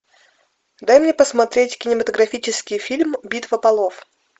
дай мне посмотреть кинематографический фильм битва полов